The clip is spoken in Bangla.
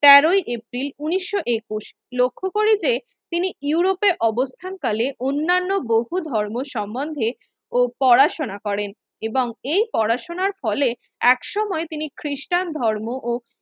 তেরোই এপ্রিল ঊনিশশো একুশ লক্ষ্য করি যে তিনি ইউরোপে অবস্থান কালে অন্যান্য বহু ধর্ম সম্মন্ধে ও পড়া শুনা করেন এবং এ পড়া শুনার ফলে একসময় খ্রিস্টান ধর্ম ও